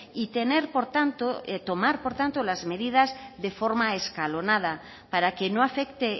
y tener por tanto tomar por tanto las medidas de forma escalonada para que no afecte